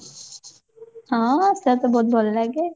ହଁ ସେଇଟା ତ ବହୁତ ଭଲ ଲାଗେ